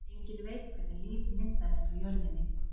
Enginn veit hvernig líf myndaðist á jörðinni.